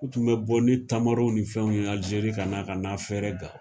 U tun bɛ bɔ ni tamaro ni fɛnw ye alizeiri ka n'a ka n'a feere gawo